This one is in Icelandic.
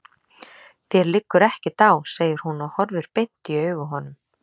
Þér liggur ekkert á, segir hún og horfir beint í augu honum.